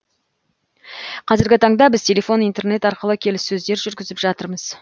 қазіргі таңда біз телефон интернет арқылы келіссөздер жүргізіп жатырмыз